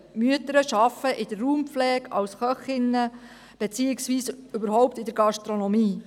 Mütter arbeiten in der Raumpflege, als Köchinnen beziehungsweise generell in der Gastronomie.